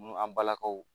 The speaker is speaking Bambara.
N'an balakaw